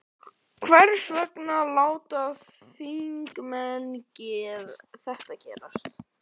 Hvers vegna láta þingmenn þetta gerast?